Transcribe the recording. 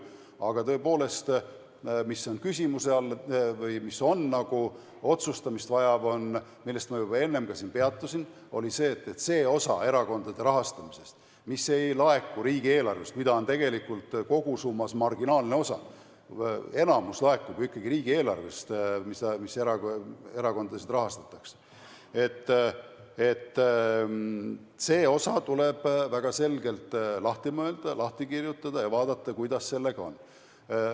Aga tõepoolest, mis on küsimuse all või mida tuleb veel otsustada ja millel ma enne siin juba peatusin, oli see, et see osa erakondade rahastamisest, mis ei laeku riigieelarvest – seda on tegelikult kogusummas marginaalne osa, sest valdav osa erakondade rahast laekub ikkagi riigieelarvest –, tuleb väga selgelt lahti mõelda, lahti kirjutada ja vaadata, kuidas sellega on.